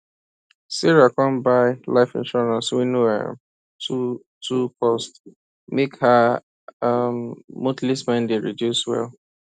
sarah come buy life insurance wey no um too too cost make her um monthly spending reduce well